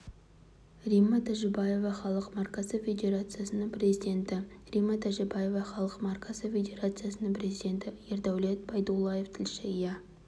римма тәжібаева халық маркасы федерациясының президенті римма тәжібаева халық маркасы федерациясының президенті ердәулет байдуллаев тілші иә